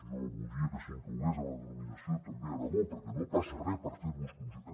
jo voldria que s’inclogués en la denominació també aragó perquè no passa res per fer los conjuntament